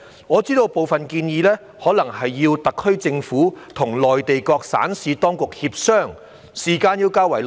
我知道部分建議可能需要特區政府與內地各省市當局協商，需時較長。